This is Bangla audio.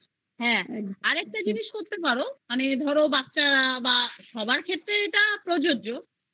হ্যা আরেকটা জিনিস করতে পারো মানে ধরো বাচ্চা বা সবার ক্ষেত্রে প্রযোজ্য